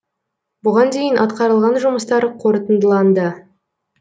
бұған дейін атқарылған жұмыстар қорытындыланды